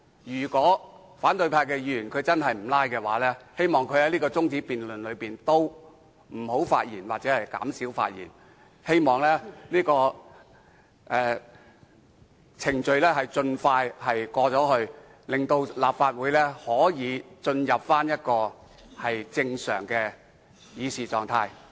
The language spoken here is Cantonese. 如果反對派議員真的不"拉布"，就請他們別就這項辯論中止待續議案發言或減少發言，讓這個程序能盡快完成，令立法會可以進入正常的議事狀態。